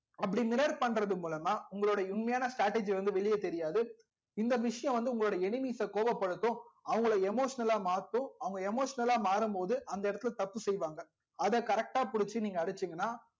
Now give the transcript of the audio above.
அப்படி mirror பண்றது மூலமா உங்களோட உண்மையான strategy வந்து வெளிய தெரியாது இந்த விஷயம் வந்து உங்களோட enemy ட்ட கோவ படுத்தும் அவங்கல emotional லா மாத்தும் அவங்க emotional லா மாறும்போது அந்த இடத்துல தப்பு செய்வாங்க அத correct டா புடிச்சி நீங்க அடிச்சிங்கனா